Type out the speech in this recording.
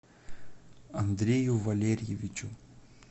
андрею валерьевичу